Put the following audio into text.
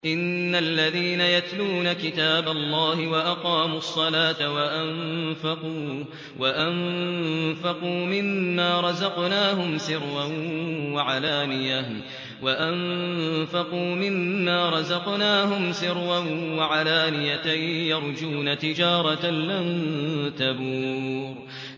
إِنَّ الَّذِينَ يَتْلُونَ كِتَابَ اللَّهِ وَأَقَامُوا الصَّلَاةَ وَأَنفَقُوا مِمَّا رَزَقْنَاهُمْ سِرًّا وَعَلَانِيَةً يَرْجُونَ تِجَارَةً لَّن تَبُورَ